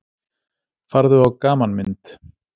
Farðu á gamanmynd.